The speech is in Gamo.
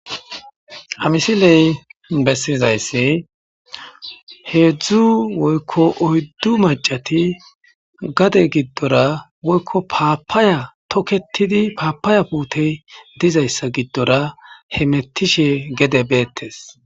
Ha misiley bessizaysi hedzdzu woykko oyddu maccati gade giddora woykko paapaya tokketidi paapaya putey dizayssa giddora hemetishe gede beetes.